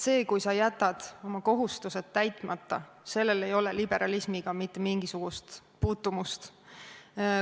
Sellel, kui sa jätad oma kohustused täitmata, ei ole liberalismiga mitte mingisugust puutumust.